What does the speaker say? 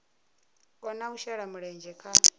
kona u shela mulenzhe kha